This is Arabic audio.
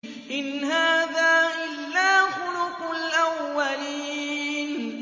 إِنْ هَٰذَا إِلَّا خُلُقُ الْأَوَّلِينَ